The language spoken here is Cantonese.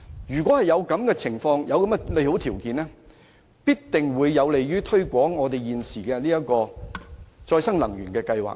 如果能夠提供上述的利好條件，必定有助推廣現時的可再生能源計劃。